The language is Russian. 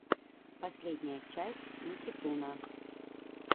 последняя часть никитуна